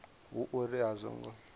hu uri a zwo ngo